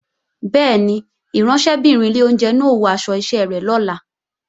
Bẹ́ẹ̀ni, ìránṣẹ́bìnrin ilé oúnjẹ náà ó wọ aṣọ iṣẹ́ rẹ̀ lọ́la